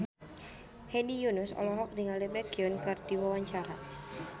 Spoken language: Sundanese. Hedi Yunus olohok ningali Baekhyun keur diwawancara